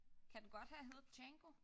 Kan den godt have heddet Django?